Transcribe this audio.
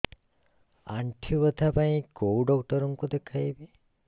ଆଣ୍ଠୁ ବ୍ୟଥା ପାଇଁ କୋଉ ଡକ୍ଟର ଙ୍କୁ ଦେଖେଇବି